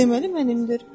Deməli mənimdir.